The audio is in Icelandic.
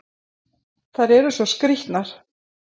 Þær eru svo skrýtnar!